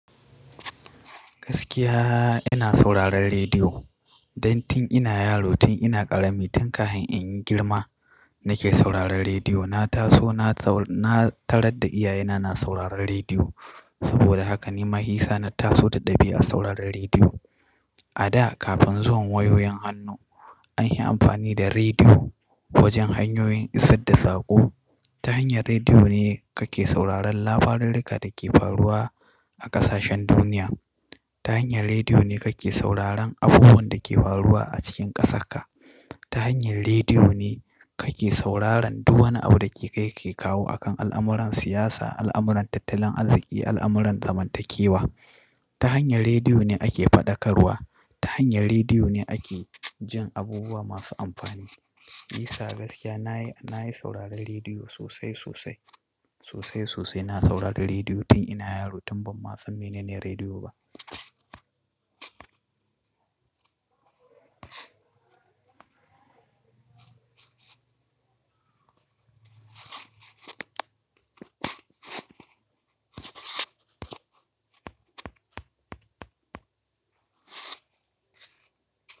Gaskiya ina sauraron rediyo. Dan tun ina yaro, tun ina ƙarami, tun kafin in yi girma nake sauraron rediyo. Na taso na tarar da iyayena na sauraron rediyo. Saboda haka ni, mahisa na taso da ɗabi'ar sauraron rediyo. A da kafin zuwan wayoyin hannu anyi amfani da rediyo wajen hanyoyin isar da sako. Ta hanyar rediyo ne kake sauraron lafarruka da ke faruwa a ƙasashen duniya. Ta hanyar rediyo ne kake sauraron abubuwan da ke faruwa a cikin ƙasarka. Ta hanyar rediyo ne kake sauraron duk wani abu da ke kai ke kawo akan al'amuran siyasa, al'amuran tattalin arziki, al'amuran zamantakewa. Ta hanyar rediyo ne ake faɗakarwa. Ta hanyar rediyo ne ake jin abubuwa masu amfani. Shi yasa gaskiya nayi sauraron rediyo sosai sosai. Sosai sosai na saurari rediyo tun ina yaro tun banma san mene ne rediyo ba.